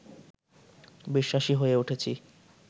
বিশ্বাসী হয়ে উঠেছি